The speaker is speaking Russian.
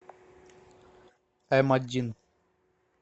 м один